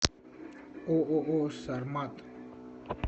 ооо сармат